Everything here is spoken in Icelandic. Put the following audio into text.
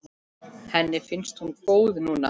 Henni finnst hún góð núna.